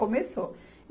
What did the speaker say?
Começou.